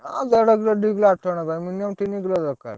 ଆଁ ଦେଢକିଲ ଦିକିଲ ଆଠ ଜଣଙ୍କ ପାଇଁ minimum ତିନି କିଲ ଦରକାର୍।